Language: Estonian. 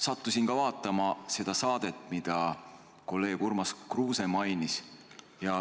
Sattusin vaatama seda saadet, mida kolleeg Urmas Kruuse mainis.